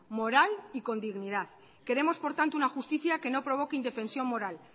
moral y con dignidad queremos por tanto una justicia que no provoque indefensión moral